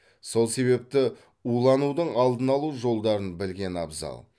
сол себепті уланудың алдын алу жолдарын білген абзал